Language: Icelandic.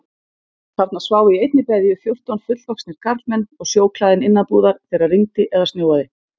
Þarna sváfu í einni beðju fjórtán fullvaxnir karlmenn og sjóklæðin innanbúðar þegar rigndi eða snjóaði.